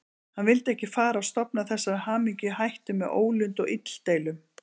Hann vildi ekki fara að stofna þessari hamingju í hættu með ólund og illdeilum.